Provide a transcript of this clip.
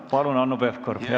Palun, Hanno Pevkur, jätkake!